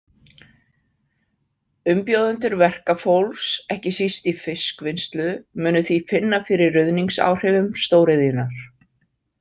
Umbjóðendur verkafólks, ekki síst í fiskvinnslu, munu því finna fyrir ruðningsáhrifum stórðiðjunnar .